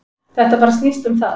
Þetta bara snýst um það.